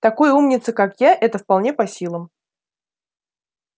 такой умнице как я это вполне по силам